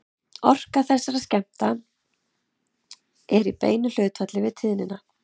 Orka þessara skammta er í beinu hlutfalli við tíðnina.